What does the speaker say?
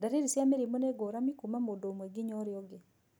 Ndariri cia mũrimũ nĩ ngũrami kuuma mũndũ ũmwe ginya ũrĩa ũngĩ.